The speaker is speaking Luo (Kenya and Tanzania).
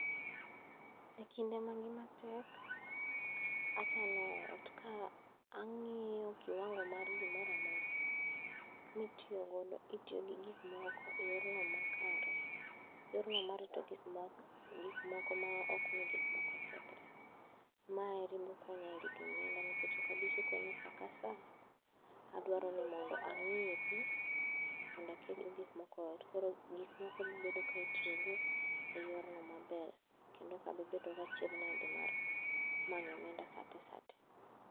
E kinde ma ngima tek, achano ot ka ang'iyo kiwango mar gimoramora, mitiyogodo itiyo gi gik moko e yorno makare. Yorno marito gikmoko ma okmi gikmoko kethre. Maeri bokonya e rito omenda nikech okabisiko ni sakasaa, adwaro mondo ang'iepi mondo akel gikmoko eot. Koro gikmoko bobedo ka itiyogodo e yorno maber. Kendo okabibedo gachiedhnade mar manyo omenda sate sate.